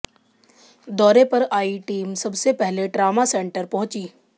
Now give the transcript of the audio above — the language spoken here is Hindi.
दौरे पर आई टीम सबसे पहले ट्रामा सेंटर पहुंची